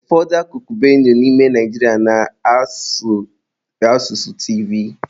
Ụfọdụ akụkụ Benue n'ime Naijiria na-asụ asụsụ Tivi.